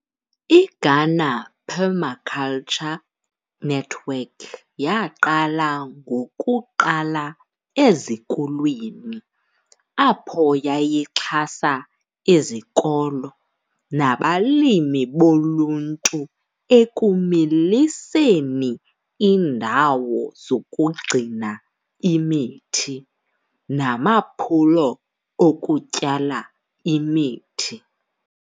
IGhana Permaculture Network yaqala ngokuqala ezikolweni apho yayixhasa izikolo, nabalimi boluntu ekumiliseni indawo zokugcina imithi namaphulo okutyala imithi.